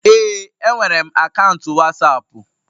Ee, enwere m akaụntụ Wasapu